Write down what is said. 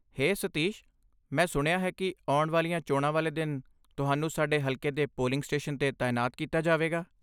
ਹੇ ਸਤੀਸ਼, ਮੈਂ ਸੁਣਿਆ ਹੈ ਕਿ ਆਉਣ ਵਾਲੀਆਂ ਚੋਣਾਂ ਵਾਲੇ ਦਿਨ ਤੁਹਾਨੂੰ ਸਾਡੇ ਹਲਕੇ ਦੇ ਪੋਲਿੰਗ ਸਟੇਸ਼ਨ 'ਤੇ ਤਾਇਨਾਤ ਕੀਤਾ ਜਾਵੇਗਾ।